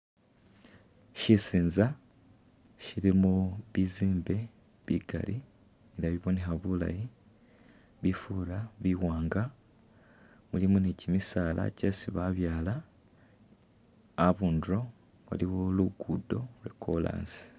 Shisinza nga shilimo bizimbe bikaali nga bibonekha bulaayi, bifura biwanga, mulimo ni'chimisaala chesi babyala abundulo aliwo luguddo lwa'chorus